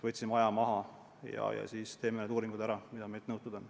Võtsime praegu aja maha ja siis teeme need uuringud ära, mida meilt nõutud on.